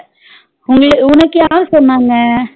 உங்களு உனக்கு யாரு சொன்னாங்க